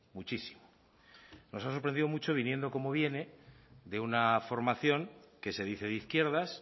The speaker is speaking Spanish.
muchísimo nos ha sorprendido mucho viniendo como viene de una formación que se dice de izquierdas